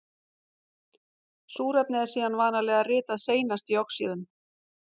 Súrefni er síðan vanalega ritað seinast í oxíðum.